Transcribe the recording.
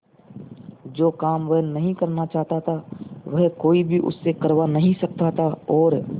जो काम वह नहीं करना चाहता वह कोई भी उससे करवा नहीं सकता था और